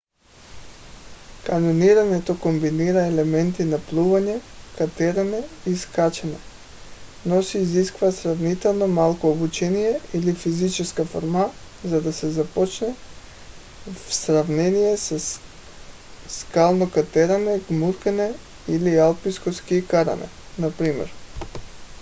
каньонирането комбинира елементи на плуване катерене и скачане но се изисква сравнително малко обучение или физическа форма за да се започне в сравнение със скално катерене гмуркане или алпийско ски каране например